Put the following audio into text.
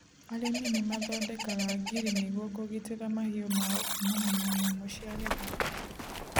Arĩmi nĩ mathondekaga ngiri nĩgũo kũgitĩra mahiũ mao kuumana na nyamũ cia gĩthaka.